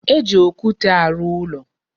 E ji okwute arụ ụlọ.